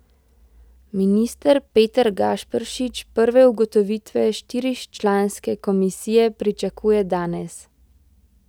Minister Peter Gašperšič prve ugotovitve štiričlanske komisije pričakuje danes.